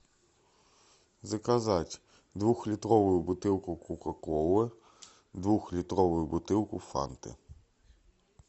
заказать двух литровую бутылку кока колы двух литровую бутылку фанты